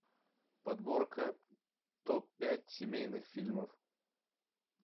подборка топ пять семейных фильмов